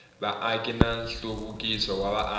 vaaki na nhluvukiso wa vaaki